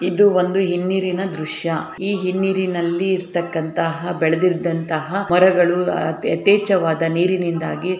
ಇದು ಒಂದು ಹಿಮ್ಮಿರಿನ ದೃಶ್ಯ ಈ ಹಿಮ್ಮಿರಿನಲ್ಲಿ ಇರ್ತಕಂತಹ ಬೆಳರ್ದಿಂತಹ ಮರಗಳು ಎತೆಚವಾದ ನಿರಿನಿಂದಾಗಿ --